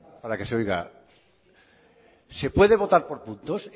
para que se oiga se puede votar por puntos